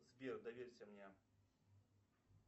сбер доверься мне